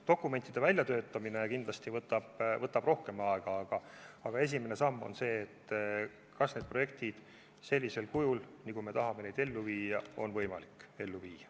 Dokumentide väljatöötamine võtab kindlasti rohkem aega, aga esimene samm on kindlaks teha, kas neid projekte sellisel kujul, nagu me tahame neid ellu viia, on võimalik ellu viia.